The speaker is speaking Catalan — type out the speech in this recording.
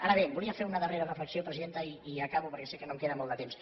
ara bé volia fer una darrera reflexió presidenta i ja acabo perquè sé que no em queda molt de temps